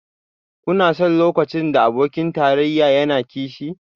Kuna son lokacin da abokin tarayya yana kishi?